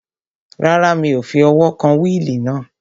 Rárá, mi ò fi ọwọ́ kan wíìlì náà